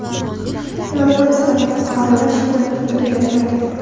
Evakuatsiya qilingan fuqarolar shu kuni tunda uylariga qaytgan.